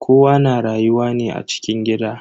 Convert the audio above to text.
Kowa na rayuwa ne a cikin gida.